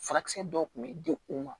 Furakisɛ dɔw tun bɛ di u ma